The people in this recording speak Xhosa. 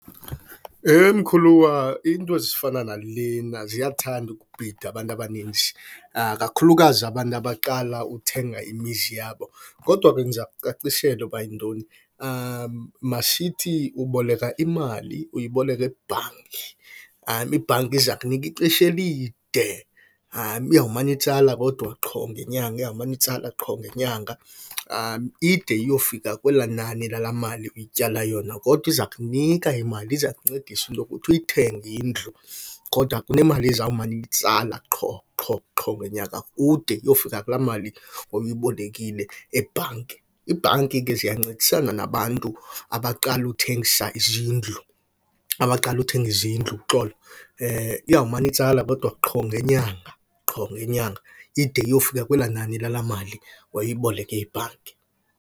Heh, mkhuluwa, iinto ezifana nalena ziyathanda ukubhida abantu abaninzi, kakhulukazi abantu abaqala uthenga imizi yabo. Kodwa ke ndiza kucacisela uba yintoni. Masithi uboleka imali, uyiboleka ebhanki. Ibhanki iza kunika ixesha elide, iyawumana itsala kodwa qho ngenyanga, iyawumana itsala qho ngenyanga ide iyofika kwelaa nani lalaa mali uyityala yona. Kodwa iza kunika imali, iza kuncedisa into yokuthi uyithenge indlu kodwa kunemali ezawumane iyitsala qho qho qho ngenyanga kude kuyofika kulaa mali obuyibolekile ebhanki. Iibhanki ke ziyancedisana nabantu abaqala uthengisa izindlu, abaqala uthenga izindlu uxolo. Iyawumana itsala kodwa qho ngenyanga, qho ngenyanga ide iyofika kwelaa nani lalaa mali wawuyiboleke ibhanki.